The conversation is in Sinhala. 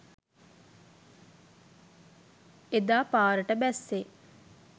එදා පාරට බැස්සේ